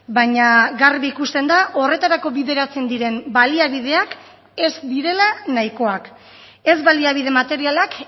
baina garbi ikusten da horretarako bideratzen diren baliabideak ez direla nahikoak ez baliabide materialak